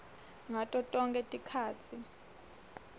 ngato tonkhe tikhatsi